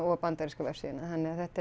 og bandarísku vefsíðuna þannig að þetta